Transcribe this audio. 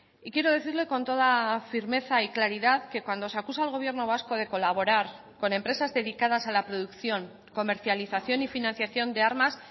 y quiero decirle con toda firmeza y claridad que cuando se acusa al gobierno vasco de colaborar con empresas dedicadas a la producción comercialización y financiación de armas